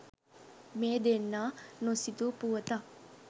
මේ දෙන්නා නොසිතූ පුවතක්.